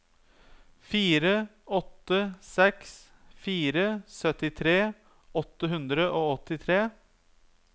fire åtte seks fire syttitre åtte hundre og åttitre